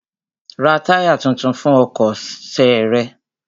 Ra táyà tuntun fún ọkọ̀ ṣe rẹ!